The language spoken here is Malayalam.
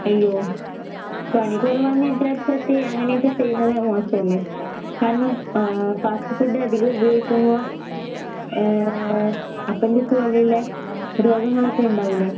അയ്യോ. പണി കൊറവാന്ന് വിചാരിച്ചട്ട് അങ്ങനെയൊക്കെ ചെയ്യുന്നത് മോശല്ലേ? കാരണം ഏഹ് ഫാസ്റ്റ് ഫുഡധികം ഉപയോഗിക്കുമ്പോ ഏഹ് അപ്പെൻഡിക്സ് പോലെയിള്ള രോഗങ്ങളൊക്കെ ഇണ്ടാവൂല്ലേ?